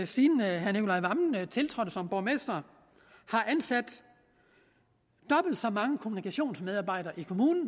siden herre nicolai wammen tiltrådte som borgmester har ansat dobbelt så mange kommunikationsmedarbejdere i kommunen